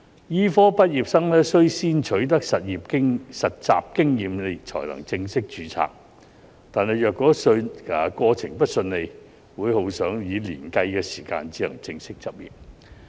醫科畢業生須先取得實習經驗才能正式註冊，但若過程不順利，會耗上以年計的時間才能正式執業。